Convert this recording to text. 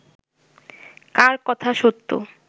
কার কথা সত্য